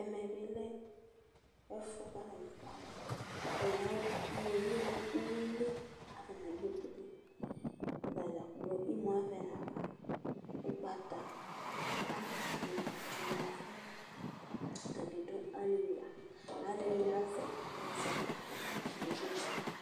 ɛmɛ bi lɛ ɛfu k'atani eku alɛ atani ayɔ uwoviu no uwili k'ata dzakplo imu avɛ nafa ugbata wla ni la tsue n'ɛfuɛ atani do ali la aloɛdini azɛ ɛzɔkpako k'ake de ma